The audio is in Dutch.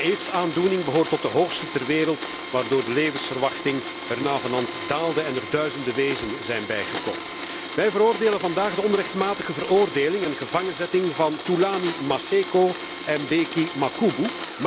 Het aantal gevallen van AIDS behoort tot de hoogste ter wereld, waardoor de levensverwachting er navenant daalde en er duizenden wezen zijn bijgekomen. Wij veroordelen vandaag de onrechtmatige veroordeling en gevangenzetting van Thulani Maseko en Bheki Makhubu.